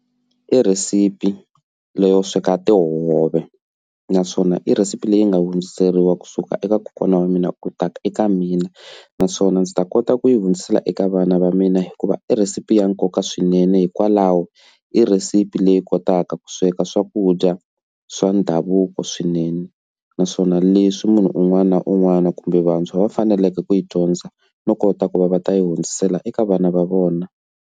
I rhesipi leyi yo sweka tihove naswona i rhesipi leyi nga hundziseriwa kusuka eka kokwana wa mina u ta ka eka mina naswona ndzi ta kota ku yi hundzisela eka vana va mina hikuva i rhesipi ya nkoka swinene hikwalaho i rhesipi leyi kotaka ku sweka swakudya swa ndhavuko swinene naswona leswi munhu un'wana na un'wana kumbe vantshwa va faneleke ku yi dyondza no kota ku va va ta yi hundzisela eka vana va vona.